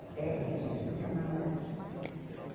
Até que a gente começou a namorar, né?